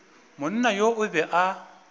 monna yo o be a